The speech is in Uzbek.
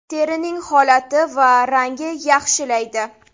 Terining holati va rangini yaxshilaydi.